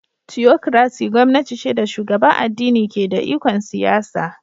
"Theocracy" gwamnati ce da shugaban addini ke da ikon siyasa